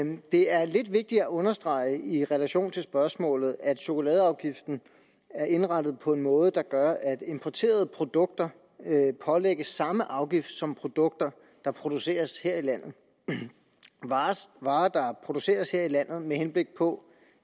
det er lidt vigtigt at understrege i relation til spørgsmålet at chokoladeafgiften er indrettet på en måde der gør at importerede produkter pålægges samme afgift som produkter der produceres her i landet varer der produceres her i landet med henblik på